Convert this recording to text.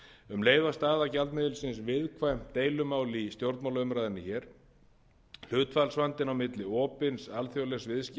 um leið var staða gjaldmiðilsins viðkvæmt deilumál í stjórnmálaumræðunni hér hlutfallsvandinn á milli opins alþjóðlegs viðskipta og fjármálalífs annars